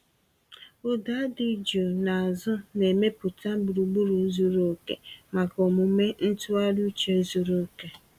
Ụda dị jụụ n’azụ na-emepụta gburugburu zuru oke maka omume ntụgharị uche zuru oke.